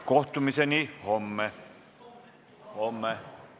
Kohtumiseni homme!